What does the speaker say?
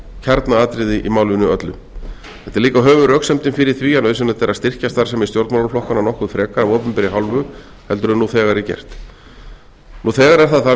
kjarnaatriði í málinu öllu þetta er líka höfuðröksemdin fyrir því að nauðsynlegt er að styrkja starfsemi stjórnmálaflokkanna nokkuð frekar af opinberri hálfu en nú þegar er gert nú þegar er það þannig